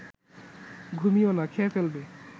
ঘুমিও না, খেয়ে ফেলবে